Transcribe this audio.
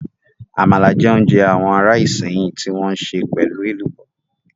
Àmàlà jẹ́ oúnjẹ àwọn ará Ìsẹ́yìn tí wọ́n sè pelu Ẹ̀lùbọ́